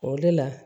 O de la